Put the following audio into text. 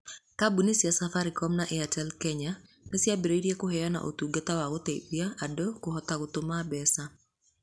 Kambuni cia Safaricom na Airtel Kenya nĩ ciambĩrĩirie kũheana ũtungata wa gũteithia andũ kũhota gũtũma mbeca